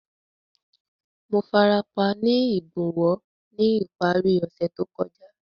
Mo farapa ni igbonwo ni ipari ose to kọja.